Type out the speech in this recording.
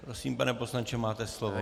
Prosím, pane poslanče, máte slovo.